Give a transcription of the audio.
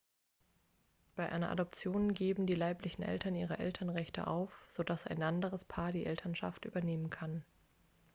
bei einer adoption geben die leiblichen eltern ihre elternrechte auf so dass ein anderes paar die elternschaft übernehmen kann